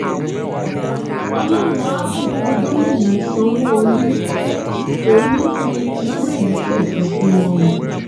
ọlọrun àá bùkún gomina sanwóolu kò ní í fi irú èyí sẹsan fún wọn o